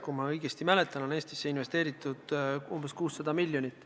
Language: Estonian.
Kui ma õigesti mäletan, on Eestisse investeeritud umbes 600 miljonit.